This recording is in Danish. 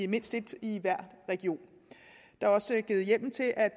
mindst et i hver region der er også givet hjemmel til at